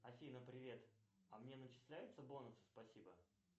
афина привет а мне начисляются бонусы спасибо